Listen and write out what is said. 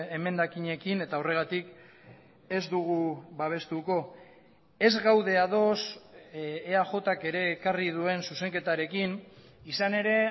emendakinekin eta horregatik ez dugu babestuko ez gaude ados eajk ere ekarri duen zuzenketarekin izan ere